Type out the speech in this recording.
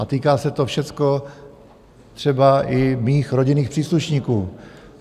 A týká se to všecko třeba i mých rodinných příslušníků.